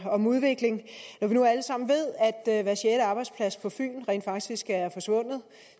om udvikling når vi nu alle sammen ved at hver sjette arbejdsplads på fyn rent faktisk er forsvundet